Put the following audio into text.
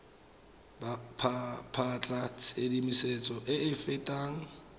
batla tshedimosetso e e fetang